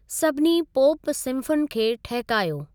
सभिनी पोप सिंफ़ुनि खे ठहिकायो।